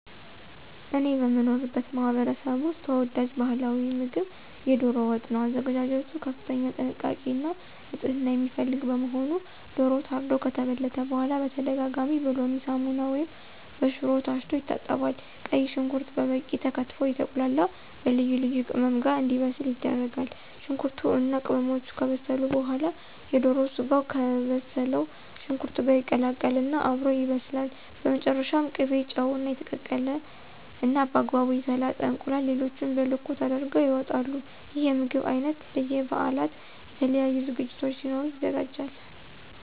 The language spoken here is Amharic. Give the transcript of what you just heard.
እኔ በምኖርበት ማህበረሰብ ውስጥ ተወዳጅ ባህላዊ ምግብ የዶሮ ወጥ ነው። አዘገጃጀቱ ከፍተኛ ጥንቃቄ እና ንፅህና የሚፈልግ በመሆኑ ዶሮው ታርዶ ከተበለተ በኋላ በተደጋጋሚ በሎሚ፣ ሳሙና ወይም በሽሮ ታሽቶ ይታጠባል። ቀይ ሽንኩርት በበቂ ተከትፎ አየተቁላላ በልዩ ልዩ ቅመም ጋር እንዲበስል ይደረጋል። ሽንኩርቱ እና ቅመሞቹ ከበሰሉ በኋላ የዶሮ ስጋው ከበሰለው ሽንኩርት ጋር ይቀላቀል እና አብሮ ይበስላል። በመጨረሻም ቅቤ፣ ጨው፣ እና የተቀቀለ እና በአግባቡ የተላጠ እንቁላል ሌሎቹም በልኩ ተደርገው ይወጣል። ይህ የምግብ አይነት በ በበአላት፣ የተለያዩ ዝግጅቶች ሲኖሩ ይዘጋጃል።